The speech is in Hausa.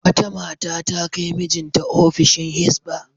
Wata mata ta kai mijinta ofishin Hizba.